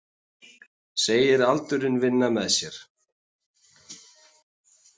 Segir aldurinn vinna með sér